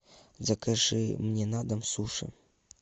закажи мне на дом суши